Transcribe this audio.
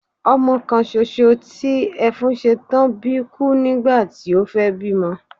Ọmọ kan soso tí Ẹfúnsetán bí kú nígbàti o fẹ́ bí ọmọ